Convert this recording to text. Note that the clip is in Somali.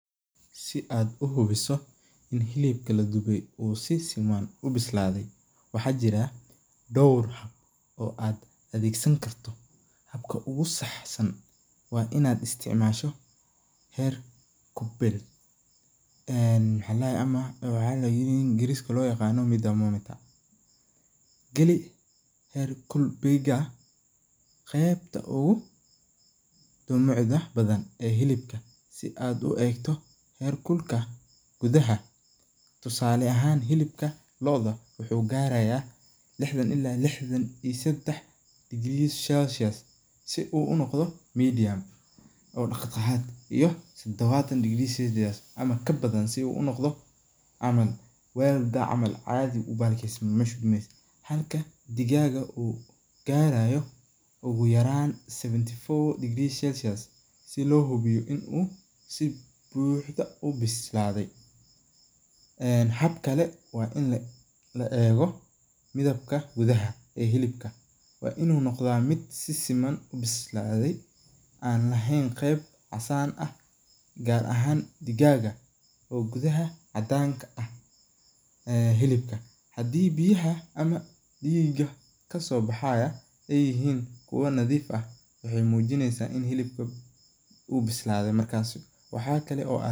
Si ad uhubiso ini hilibka la dube uu si siman u bislaade waxa jiraa dhoor oo ad adeegsan karto, habka ogu saxsan waa inad isticmaasho heer Gulbey ama waxa ingriska loo yaqaano thermometer. geli heer gulbeyga qebta ogu dulucda badan hilibka si ad u egto heer kulka gudaha, tusale ahan hilibka loo'da wuxuu garaya lixdan ila lixdan iyo sedax degrees Celsius.si uu unoqdo medium oo dhexdhaxaad iyo todobaatan degrees Celsius ama kabadan si uu unoqdo camal wel camall caadi ubahal kiyesmo, halka digaaga uu gaarayo ogu yaraan seventy four degrees Celsius si loo xubiyo inu si buuxdo u bislaaday en hab kale waa in la eego midibka gudaha ee hilibka, waa inu noqda mid si siman u bislaaday an lahayn qeb casaan ah gaar ahaan digaaga oo gudaha cadaanka ah ee hilibka, hadii hilibka biyaha ama dhiiga kasoo baxaya ay yihiin kuwo nadiif ah waxay muujineysa ini hilibka uu bislaade markaasi waxa kale